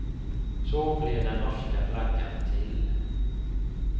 Så blev den norska flaggan till.